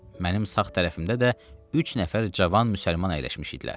Mənim sağ tərəfimdə də üç nəfər cavan müsəlman əyləşmişdilər.